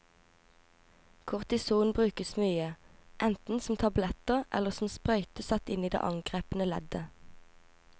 Kortison brukes mye, enten som tabletter eller som sprøyte satt inn i det angrepne leddet.